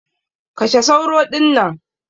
Kashe sauro dinnan!